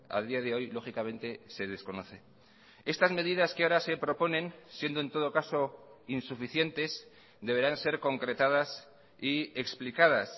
a día de hoy lógicamente se desconoce estas medidas que ahora se proponen siendo en todo caso insuficientes deberán ser concretadas y explicadas